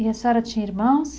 E a senhora tinha irmãos?